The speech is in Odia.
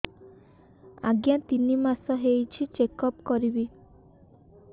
ଆଜ୍ଞା ତିନି ମାସ ହେଇଛି ଚେକ ଅପ କରିବି